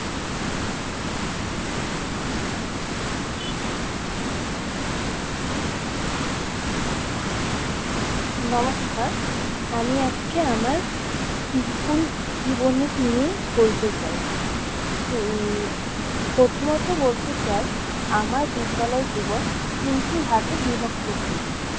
নমস্কার, আমি আজকে আমার school জীবন নিয়ে বলতে চাই। উম প্রথমত বলতে চাই, আমার বিদ্যালয় জীবন তিনটি ভাগে বিভক্ত ছিল।